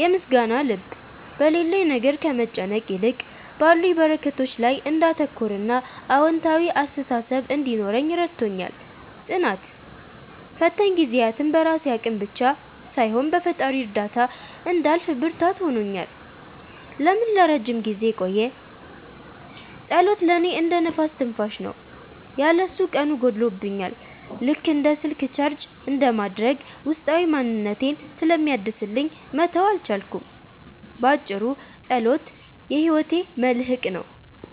የምስጋና ልብ፦ በሌለኝ ነገር ከመጨነቅ ይልቅ ባሉኝ በረከቶች ላይ እንዳተኩርና አዎንታዊ አስተሳሰብ እንዲኖረኝ ረድቶኛል። ጽናት፦ ፈታኝ ጊዜያትን በራሴ አቅም ብቻ ሳይሆን በፈጣሪ እርዳታ እንዳልፍ ብርታት ሆኖኛል። ለምን ለረጅም ጊዜ ቆየ? ጸሎት ለእኔ እንደ "ነፍስ ትንፋሽ" ነው። ያለ እሱ ቀኑ ጎድሎብኛል፤ ልክ እንደ ስልክ ቻርጅ እንደማድረግ ውስጣዊ ማንነቴን ስለሚያድስልኝ መተው አልቻልኩም። ባጭሩ፣ ጸሎት የሕይወቴ መልሕቅ ነው።